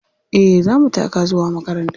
Eh za mu taka zuwa makaranta.